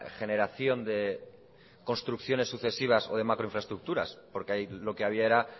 generación de construcciones sucesivas o de macroinfraestructuras porque ahí lo que había era